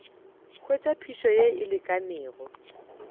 hwetša phišo ye e lekanego